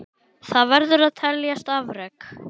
Það verður að teljast afrek.